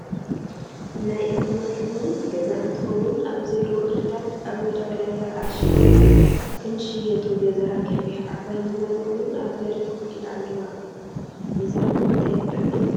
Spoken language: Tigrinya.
ናይ እክሊ መክዚን ገዛ ንትከውን ኣብዚ ዘለው እክሊታት ኣብመዳበርያ ተኣሺጎም ክንሽየጡ ገዛ ገፊቱ ዓባይ ሚዛን እውን ኣብ በሪ ኮፍ ኣሎሞ ኣለው። ምዛን ንምታይ ትጠቅም ?